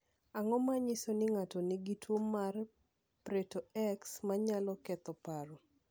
Ang’o ma nyiso ni ng’ato nigi tuwo mar Prieto X ma nyalo ketho paro?